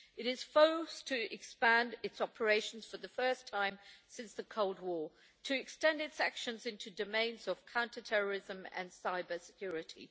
It is forced to expand its operations for the first time since the Cold War, to extend its actions into domains of counter terrorism and cybersecurity.